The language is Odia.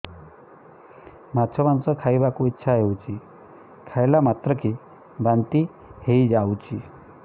ମାଛ ମାଂସ ଖାଇ ବାକୁ ଇଚ୍ଛା ହଉଛି ଖାଇଲା ମାତ୍ରକେ ବାନ୍ତି ହେଇଯାଉଛି